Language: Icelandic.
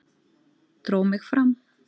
Dró mig fram.